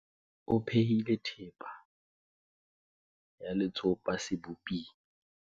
o phehile thepa ya letsopa seboping